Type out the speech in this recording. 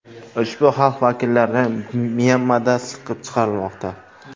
Ushbu xalq vakillari Myanmada siqib chiqarilmoqda.